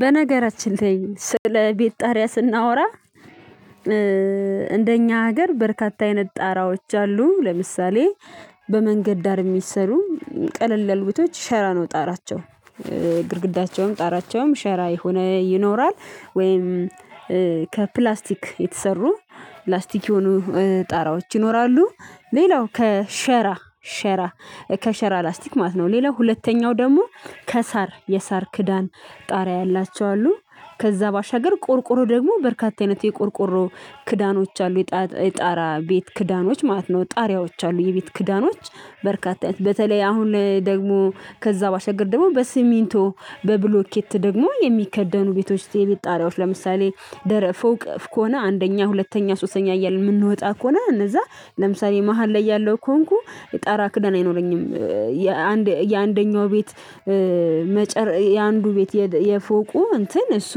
በነገራችን ላይ ስለ ቤት ጣሪያ ስናወራ እንደኛ ሀገር በርካታ አይነት ጣራዎች አሉ። ለምሳሌ በመንገድ ዳር እሚሰሩ ቀለል ቤቶች ሸራ ነው ጣራቸው ግድግዳቸውም ጣራቸውም ሸራ የሆነ ይኖራል። ወይም ከፕላስቲክ የተሰሩ ፕላስቲክ የሆኑ ጣራዎች ይኖራሉ። ሌላው ከሸራ ሸራ ከሸራ ላስቲክ ማለት ነው። ሌላው ሁለተኛው ደግሞ ከሳር የሳር ክዳን ጣሪያ ያላቸው አሉ። ከዛ ባሻገር ቆርቆሮ ደግሞ በርካታ አይነት የቆርቆሮ ክዳኖች አሉ የጣራ ቤት ክዳኖች ማለት ነው ጣሪያዎች አሉ። የቤት ክዳኖች በርካታ በተለይ አሁን ደግሞ ከዛ ባሻገር ደግሞ በሲሚንቶ በብሎኬት ደግሞ የሚከደኑ ቤቶች ውስጥ የቤት ጣሪያዎች ለምሳሌ ደረፍ ፎቅ ከሆነ አንደኛ ሁለተኛ ሶሰኛ እያልን ምንወጣ ከሆነ እነዛ ለምሳሌ መሃል ላይ ያለው ከሆንኩ ክዳን አይኖረኝም። የአንደኛው ቤት መጨረሻ የአንዱ ቤት የፎቁ እንትን እሱ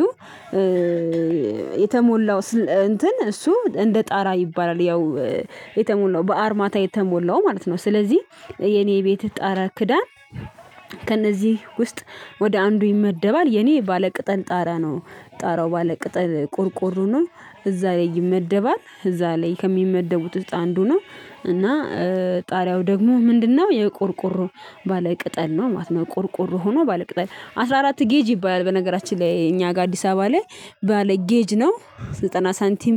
የተሞላው እንትን እሱ እንደ ጣራ ይባላል። ያው የተሞላው በአርማታ የተሞላው ማለት ነው። ስለዚህ የኔ ቤት ጣራ ክዳን ከእነዚህ ውስጥ ወደ አንዱ ይመደባል። የኔ ባለቅጠል ጣራ ነው ጣራው ባለቅጠል ቆርቆሮ ነው። እዛ ላይ ይመደባል እዛ ላይ ከሚመደቡት ውስጥ አንዱ ነው። እና ጣሪያው ደግሞ ምንድን ነው? የቆርቆሮ ባለ ቅጠል ነው ማለት ነው። ቆርቆሮ ሆኖ ባለ ቅጠል አስራ አራት ጌጅ ይባላል። በነገራችን ላይ እኛ ጋ አዲስ አበባ ላይ ባለ ጌጅ ነው ዘጠና ሳንቲም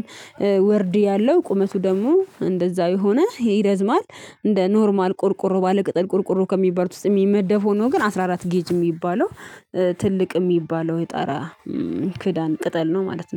ወርድ ያለው ቁመቱ ደግሞ እንደዛው የሆነ ይረዝማል። እንደ ኖርማል ቆርቆሮ ባለቅጠል ቆርቆሮ ከሚባሉት ውስጥ የሚመደብ ሆኖ ግን አስራ አራት ጌጅ ሚባለው ትልቅ ሚባለው የጣራ ክዳን ቅጠል ነው። ማለት ነው